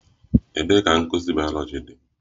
Ebee ka nkuzi bayoloji dị?